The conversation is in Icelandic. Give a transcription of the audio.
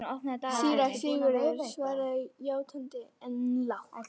Síra Sigurður svaraði játandi, en lágt.